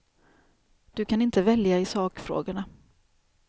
Du kan inte välja i sakfrågorna.